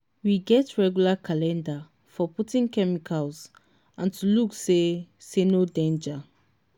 we get regular calendar for putting chemicals and to look say say no danger.